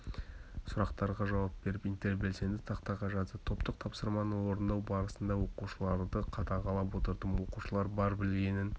сұрақтарға жауап беріп интербелсенді тақтаға жазды топтық тапсырманы орындау барысында оқушыларды қадағалап отырдым оқушылар бар білгенін